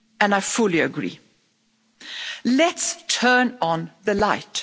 I fully agree. Let's turn on the light.